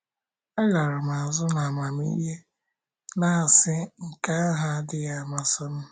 Alara azụ n'amamihe, na - asị: ‘ Nke ahụ adịghị amasị m. ’